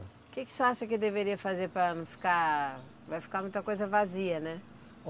O que que você acha que deveria fazer para não ficar, vai ficar muita coisa vazia, né?